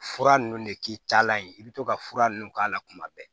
Fura nunnu de k'i taalan ye i bɛ to ka fura ninnu k'a la kuma bɛɛ